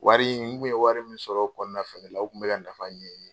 Wari in n tun ye wari min sɔrɔ o kɔnɔna fana la, o tun bɛ ka nafa ɲɛn.